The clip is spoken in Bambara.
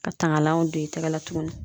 Ka tangalanw don i tɛgɛ la tuguni